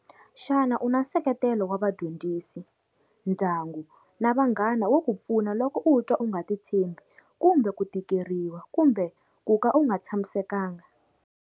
Xana u na nseketelo wa vadyondzisi, ndyangu na vanghana wo ku pfuna loko u twa u nga titshembi kumbe ku tikeriwa kumbe ku ka u nga tshamisekanga?